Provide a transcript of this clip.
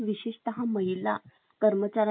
कर्मचाऱ्यांचा छळ रोखणं सुद्धा